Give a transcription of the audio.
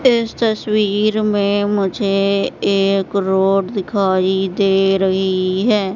इस तस्वीर में मुझे एक रोड दिखाई दे रही है।